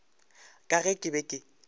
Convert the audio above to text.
ka ge ke be ke